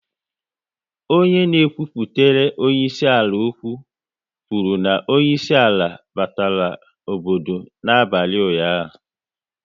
Onye na ekwupụtere onyeisi ala okwu, kwuru na onyeisi ala batara obodo n'abalị ụnyaahụ